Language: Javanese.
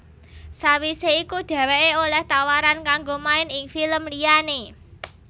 Sawisé iku dhèwèké olèh tawaran kanggo main ing film liyané